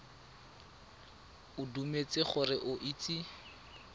o dumetse gore o itse